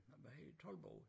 Hvad hedder det Toldbod